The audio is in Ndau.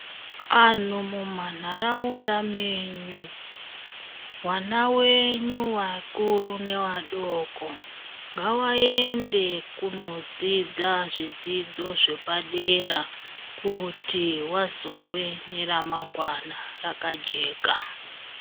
Anhu mumanharaunda menyu vana venyu vakuru nevadoko ngavaende kunodzidza zvidzidzo zvepadera kuti vazove neramangwana rakajeka.